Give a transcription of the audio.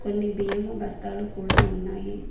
న్ని బియ్యము బస్తాలు కూడా ఉన్నాయి.